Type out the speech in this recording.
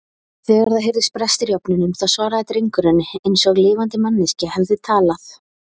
Þegar það heyrðust brestir í ofninum þá svaraði drengurinn eins og lifandi manneskja hefði talað.